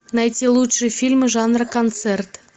найти лучшие фильмы жанра концерт